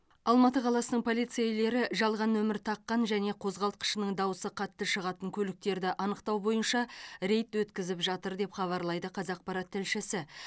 алматы қаласының полицейлері жалған нөмір таққан және қозғалтқышының дауысы қатты шығатын көліктерді анықтау бойынша рейд өткізіп жатыр деп хабарлайды қазақпарат тілшісі